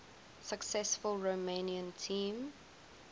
successful romanian team